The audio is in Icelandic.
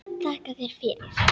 Þakka þér fyrir.